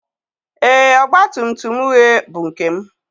Ee, ọgba tum tum uhie bụ nke m